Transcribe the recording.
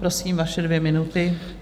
Prosím, vaše dvě minuty.